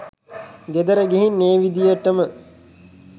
ගෙදර ගිහින් ඒ විදිහටම